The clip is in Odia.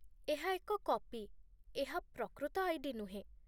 ଏହା ଏକ କପି, ଏହା ପ୍ରକୃତ ଆଇ.ଡି. ନୁହେଁ